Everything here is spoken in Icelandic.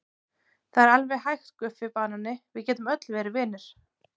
Það er alveg hægt Guffi banani, við getum öll verið vinir.